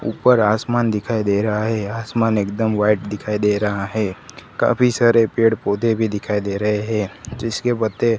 ऊपर आसमान दिखाई दे रहा हैं आसमान एकदम व्हाइट दिखाई दे रहा हैं काफी सारे पेड़ पौधे भीं दिखाई दे रहें हैं जिसके पत्ते--